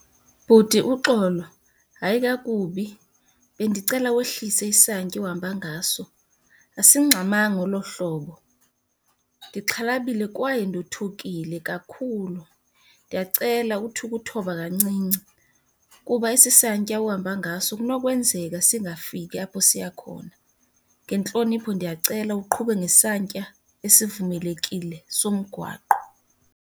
Bhuti, uxolo, hayi kakubi bendicela wehlise isantya ohamba ngaso, asingxamanga olo hlobo. Ndixhalabile kwaye ndothukile kakhulu, ndiyacela uthi ukuthoba kancinci kuba esi santya uhamba ngaso kunokwenzeka singafiki apho siya khona. Ngentlonipho ndiyacela uqhube ngesantya esivumelekile somgwaqo.